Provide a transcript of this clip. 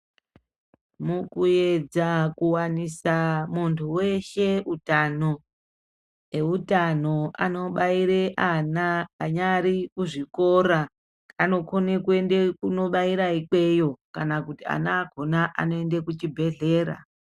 Mukuyedza kuwanisa muntu weshe utano e utano ano baire ana anyari mu zvikora anokone kuende kuno baira ikweyo kana kuti ana akona anoende ku chibhedhlera.